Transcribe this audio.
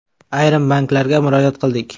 Ayrim banklarga murojaat qildik.